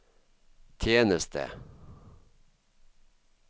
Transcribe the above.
tjeneste